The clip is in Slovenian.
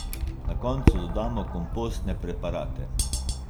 Na koncu dodamo kompostne preparate.